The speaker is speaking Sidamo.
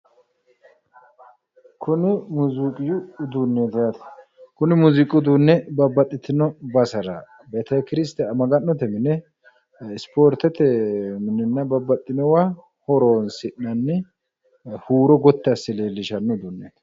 Kuni muuziiqu uduunneeti yaate, kuni muuziiqu uduunni babbaxxitino basera betekiristiyaanete maga'note mine isipoorteetenna minenna babbaxxinowa horonsi'nanni huuro gotti asse leellishshanno uduunneeti